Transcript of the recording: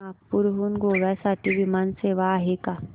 नागपूर हून गोव्या साठी विमान सेवा आहे का